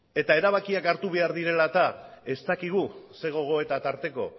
eta erabakiak hartu behar direla eta ez dakigu ze gogoeta tarteko